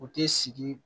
U ti sigi